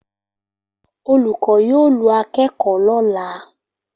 Olùkọ́ yóò lu akẹ́kọ̀ọ́ lọ́la